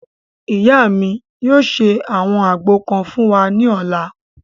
Ìyá mi yóò ṣe àwọn àgbo kan fún wa ní ọ̀la